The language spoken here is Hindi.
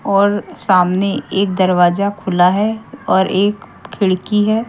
और सामने एक दरवाजा खुला है और एक खिड़की है।